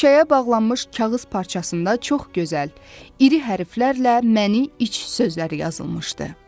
Şüşəyə bağlanmış kağız parçasında çox gözəl, iri hərflərlə məni iç sözləri yazılmışdı.